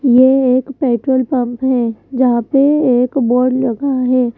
यह एक petrol pump है जहां पे एक बोर्ड लगी है।